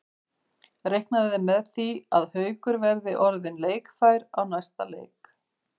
Reiknað er með því að Haukur verði orðinn leikfær í næsta leik.